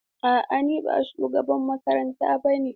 A'a, ni ba shugaban ma'aikata ba ne.